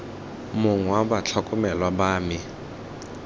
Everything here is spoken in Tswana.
mongwe wa batlhokomelwa ba me